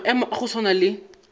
maemo a go swana le